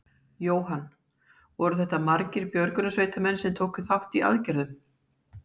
Jóhann: Voru þetta margir björgunarsveitamenn sem tóku þátt í aðgerðum?